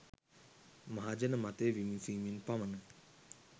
මහජන මතය විමසීමෙන් පමණයි